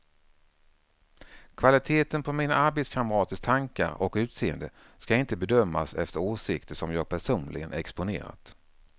Kvaliteten på mina arbetskamraters tankar och utseende ska inte bedömas efter åsikter som jag personligen exponerat.